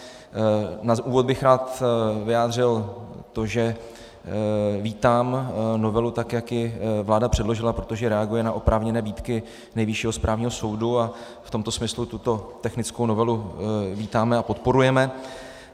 Na úvod bych rád vyjádřil to, že vítám novelu, tak jak ji vláda předložila, protože reaguje na oprávněné výtky Nejvyššího správního soudu, a v tomto smyslu tuto technickou novelu vítáme a podporujeme.